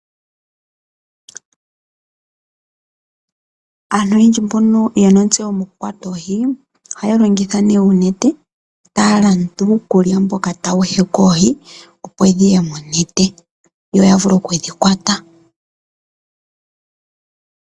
Aantu oyendji mbono yena ontseyo mokukwata oohi , ohaya longitha oonete . Ohaya landa iikulya mboka hawu heke oohi opo dhiye monete, yo yavule okudhikwata.